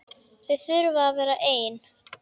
Þau þurfi að vera ein.